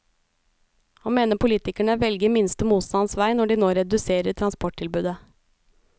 Han mener politikerne velger minste motstands vei når de nå reduserer transporttilbudet.